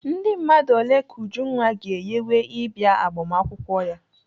Ndị mmadụ ole ka Ujunwa ga-eyiwe ịbịa agbamakwụkwọ gị?